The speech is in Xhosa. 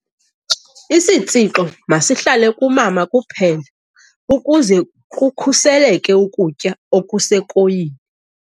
Isitshixo masihlale kumama kuphela ukuze kukhuseleke ukutya okusekoyini.